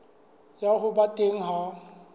ya ho ba teng ha